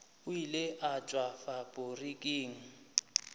o ile a tšwa faporiking